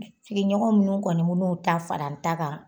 Sigiɲɔgɔn munnu kɔni bin'u ta fara n ta kan